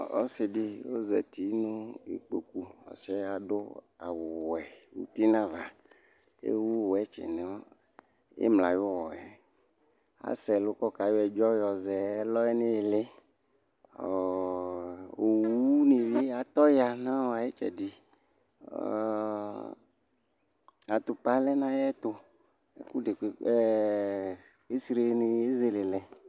ɔsɩdɩ zatɩ nʊ edɩnɩ kʊ ewʊ ɛkʊsʊ ɩtɩ nʊ imla ayʊwɔɛ asɛ ɛlɔkɔ yɔ ɛdzɔ yɔzɛ nʊ ɩlɩɩ owʊnɩ atɔya nʊ ɩtsɛdɩ ɩko lɛnʊ ayʊɛtʊ flɛsenɩ ezelelɛ